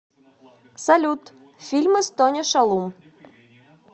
салют фильмы с тони шалум